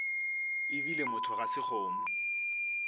ebile motho ga se kgomo